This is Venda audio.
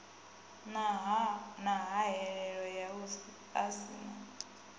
na hahelelo ya u aisana